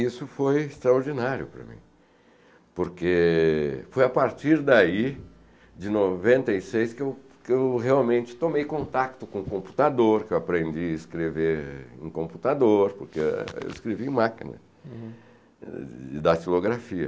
Isso foi extraordinário para mim, porque foi a partir daí, de noventa e seis, que eu que eu realmente tomei contato com o computador, que eu aprendi a escrever em computador, porque eu escrevia em máquina de datilografia.